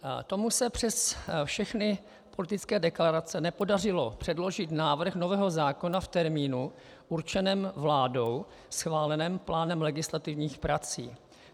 Tomu se přes všechny politické deklarace nepodařilo předložit návrh nového zákona v termínu určeném vládou schváleným plánem legislativních prací.